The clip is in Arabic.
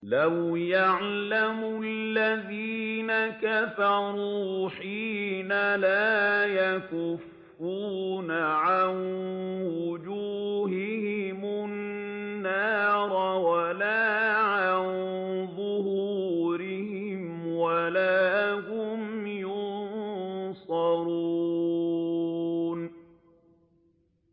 لَوْ يَعْلَمُ الَّذِينَ كَفَرُوا حِينَ لَا يَكُفُّونَ عَن وُجُوهِهِمُ النَّارَ وَلَا عَن ظُهُورِهِمْ وَلَا هُمْ يُنصَرُونَ